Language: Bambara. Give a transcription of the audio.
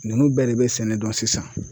Ninnu bɛɛ de bɛ sɛnɛ dɔn sisan.